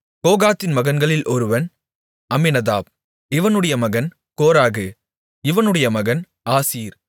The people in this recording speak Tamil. கோகாத்தின் மகன்களில் ஒருவன் அம்மினதாப் இவனுடைய மகன் கோராகு இவனுடைய மகன் ஆசீர்